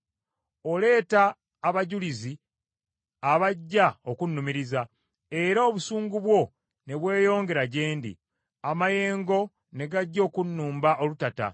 Oleeta abajulizi abajja okunnumiriza, era obusungu bwo ne bweyongera gye ndi; amayengo ne gajja okunnumba olutata.